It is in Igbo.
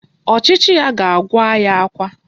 Ọchịchị ya ga-agụ anyị akwa